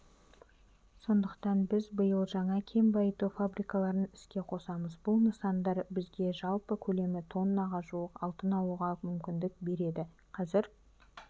сондықтан біз биыл жаңа кен байыту фабрикаларын іске қосамыз бұл нысандар бізге жалпы көлемі тоннаға жуық алтын алуға мүмкіндік береді қазір